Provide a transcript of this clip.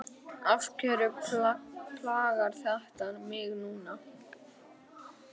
Af hverju plagar þetta mig núna?